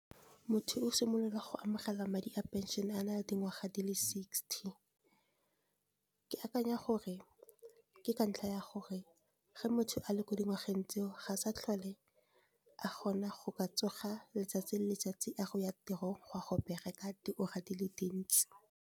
Motho o simolola go amogela madi a pension a nale dingwaga di le sixty. Ke akanya gore ke ka ntlha ya gore ge motho a le ko dingwageng tse o, ga sa tlhole a kgona go ka tsoga letsatsi le letsatsi a re o ya tirong go a go bereka diura di le dintsi.